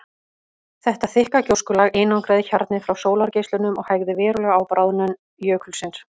Þetta þykka gjóskulag einangraði hjarnið frá sólargeislunum og hægði verulega á bráðnun jökulsins.